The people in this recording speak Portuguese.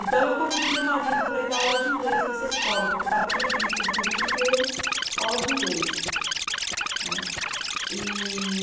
Então, eu convidei meu marido para ir dar aula de inglês nessa escola, porque estava previsto no currículo deles a aula de inglês. Né, e